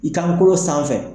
I kant'o sanfɛ